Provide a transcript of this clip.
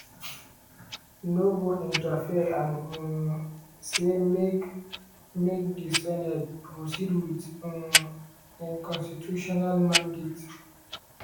no go interfere and um say make make di senate proceed with um im constitutional mandate.